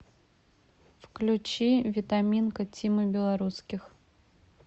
включи витаминка тимы белорусских